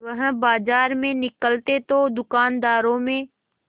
वह बाजार में निकलते तो दूकानदारों में